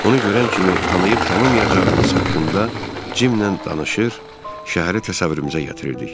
Ona görən kimi tanıyıb tanımayacağımız haqqında Cimlə danışır, şəhəri təsəvvürümüzə gətirirdik.